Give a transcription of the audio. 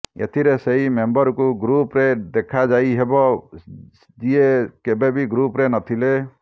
ଏଥିରେ ସେହି ମେମ୍ବରଙ୍କୁ ଗ୍ରୁପରେ ଦେଖାଯାଇହେବ ଯିଏ କେବେବି ଗ୍ରୁପରେ ନଥିଲେ